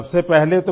سر ji پرنام